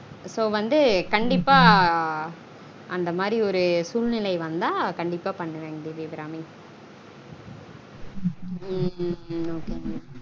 So வந்து கண்டீப்பா அந்த மாதிரி ஒரு சூழ்னிலை வந்தா கண்டீப்பா பண்ணுவன் தேவியபிராமி உம் உம் உம்